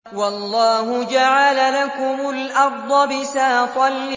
وَاللَّهُ جَعَلَ لَكُمُ الْأَرْضَ بِسَاطًا